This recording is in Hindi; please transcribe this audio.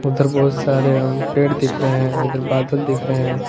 उधर बहुत सारे हम पेड़ दिख रहे हैं इधर बादल दिख रहे हैं।